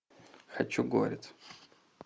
хочу горец